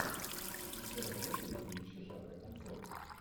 у тебя найдется фильмище жанра концерт